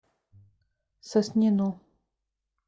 соснину